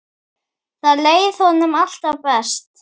Þar leið honum alltaf best.